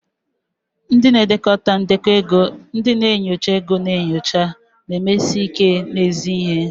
Ndị na-edekọ ndekọ ego, ndị na-enyocha ego na-enyocha, na-emesi ike n'ezi ihe.